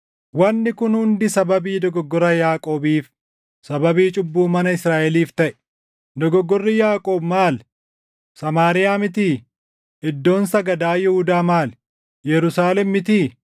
Wanni kun hundi sababii dogoggora Yaaqoobiif, sababii cubbuu mana Israaʼeliif taʼe. Dogoggorri Yaaqoob maali? Samaariyaa mitii? Iddoon sagadaa Yihuudaa maali? Yerusaalem mitii?